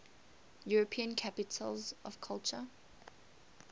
european capitals of culture